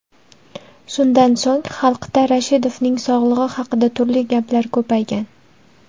Shundan so‘ng, xalqda Rashidovning sog‘lig‘i haqida turli gaplar ko‘paygan.